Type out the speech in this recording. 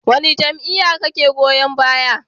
Wane jam'iyya kake goyon baya?